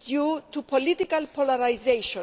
due to political polarisation.